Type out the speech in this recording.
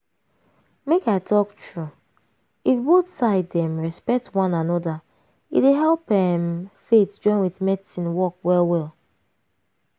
make i talk true if both side dem respect one anoda e dey help emm faith join with medicine work well well.